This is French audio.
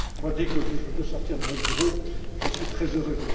aller. Dès que je peux sortir de mon bureau, j'en suis très heureux.